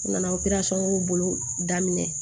U nana o bolo daminɛ